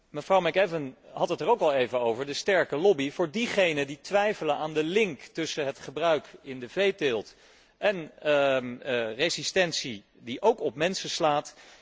Mevrouw McAvan had het ook al even over de sterke lobby van diegenen die twijfelen aan de link tussen het gebruik in de veeteelt en de resistentie die ook op mensen slaat.